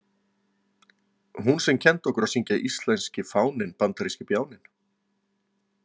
Hún sem kenndi okkur að syngja Íslenski fáninn, bandaríski bjáninn.